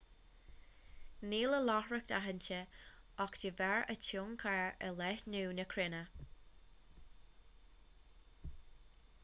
níl a láithreacht aitheanta ach de bharr a tionchar ar leathnú na cruinne